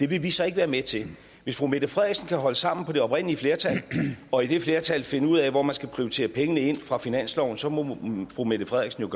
vi så ikke være med til hvis fru mette frederiksen kan holde sammen på det oprindelige flertal og i det flertal finde ud af hvor man skal prioritere pengene ind fra finansloven så må fru mette frederiksen